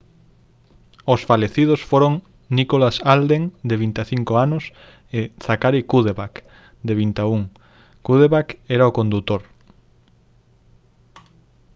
os falecidos foron nicholas alden de 25 anos e zachary cuddeback de 21 cuddeback era o condutor